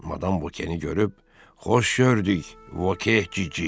Madam Voke-ni görüb, "Xoş gördük, Voke, cici!"